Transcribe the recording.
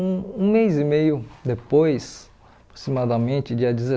Um um mês e meio depois, aproximadamente, dia